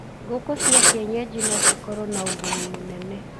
Ngũkũ cia kĩenyanji no cikorwo na ũguni mũnene